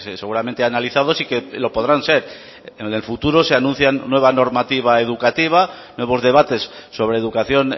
seguramente analizados y que lo podrán ser en el futuro si anuncian nueva normativa educativa nuevos debates sobre educación